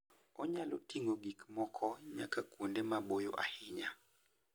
Onyalo ting'o gik moko nyaka kuonde maboyo ahinya.